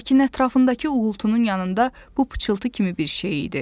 Lakin ətrafındakı uğultunun yanında bu pıçıltı kimi bir şey idi.